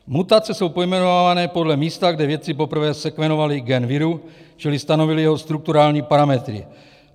Mutace jsou pojmenovávané podle místa, kde vědci poprvé sekvenovali gen viru čili stanovili jeho strukturální parametry.